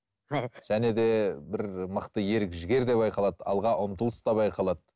және де бір мықты ерік жігер де байқалады алға ұмтылыс та байқалады